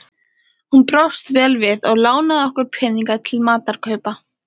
Hún brást vel við og lánaði okkur peninga til matarkaupa.